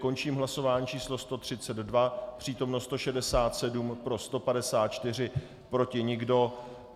Končím hlasování číslo 132, přítomno 167, pro 154, proti nikdo.